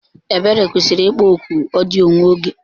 Ebere kwụsịrị ịkpọ oku odiyo nwa oge.